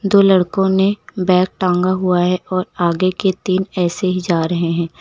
दो लड़कों ने बैग टांगा हुआ है और आगे के तीन ऐसे ही जा रहे हैं।